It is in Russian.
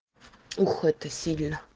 ух это сильно